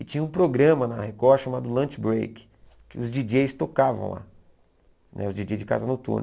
E tinha um programa na Record chamado Lunch Break, que os djíi djêis tocavam lá, né os djíi djêis de casa noturna.